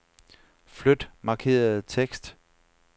Flyt markerede tekst.